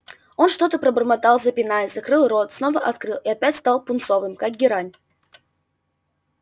он что-то пробормотал запинаясь закрыл рот снова открыл и опять стал пунцовым как герань